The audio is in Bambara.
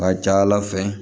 A ka ca ala fɛ